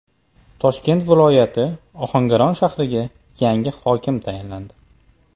Toshkent viloyati Ohangaron shahriga yangi hokim tayinlandi.